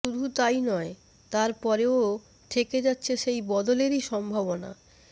শুধু তাই নয় তার পরেও থেকে যাচ্ছে সেই বদলেরই সম্ভাবনা